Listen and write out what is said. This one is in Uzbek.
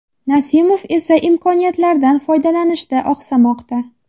Nasimov esa imkoniyatlardan foydalanishda oqsamoqda.